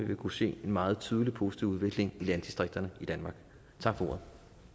vil kunne se en meget tydelig positiv udvikling i landdistrikterne i danmark tak for ordet